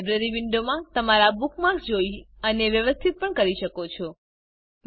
તમે લાઇબ્રેરી વિંડોમાં તમારા બુકમાર્ક્સ જોઈ અને વ્યવસ્થિત પણ કરી શકો છો